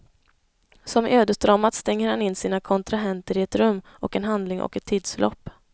Som i ödesdramat stänger han in sina kontrahenter i ett rum och en handling och ett tidsförlopp.